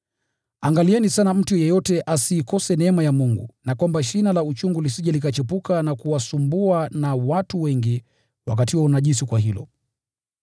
Angalieni sana mtu yeyote asiikose neema ya Mungu na kwamba shina la uchungu lisije likachipuka na kuwasumbua na watu wengi wakatiwa unajisi kwa hilo.